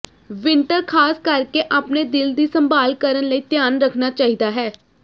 winter ਖਾਸ ਕਰਕੇ ਆਪਣੇ ਦਿਲ ਦੀ ਸੰਭਾਲ ਕਰਨ ਲਈ ਧਿਆਨ ਰੱਖਣਾ ਚਾਹੀਦਾ ਹੈ